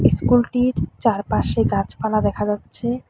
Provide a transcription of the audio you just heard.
ইস্কুলটির চারপাশে গাছপালা দেখা যাচ্ছে।